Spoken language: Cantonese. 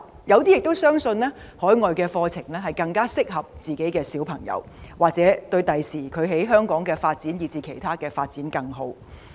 有些家長相信海外的教育更適合子女，或對他們日後在香港發展以至其他方面的發展更好。